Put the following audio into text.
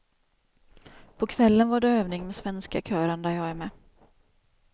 På kvällen var det övning med svenska kören där jag är med.